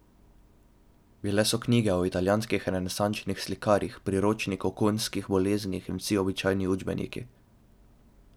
Bile so knjige o italijanskih renesančnih slikarjih, Priročnik o konjskih boleznih in vsi običajni učbeniki.